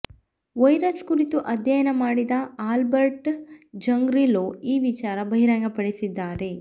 virus ಕುರಿತು ಅಧ್ಯಯನ ಮಾಡಿದ ಆಲ್ಬರ್ಟ್ ಝಂಗ್ರಿಲೋ ಈ ವಿಚಾರ ಬಹಿರಂಗ ಪಡಿಸಿದ್ದಾರೆ